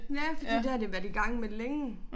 Ja fordi det har de været i gang med længe